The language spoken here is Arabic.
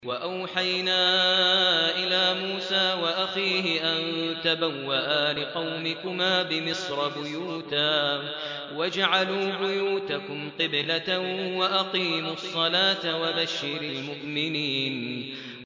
وَأَوْحَيْنَا إِلَىٰ مُوسَىٰ وَأَخِيهِ أَن تَبَوَّآ لِقَوْمِكُمَا بِمِصْرَ بُيُوتًا وَاجْعَلُوا بُيُوتَكُمْ قِبْلَةً وَأَقِيمُوا الصَّلَاةَ ۗ وَبَشِّرِ الْمُؤْمِنِينَ